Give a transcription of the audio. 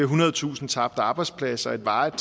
hundrede tusinde tabte arbejdspladser og et varigt